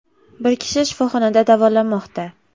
Bir kishi shifoxonada davolanmoqda.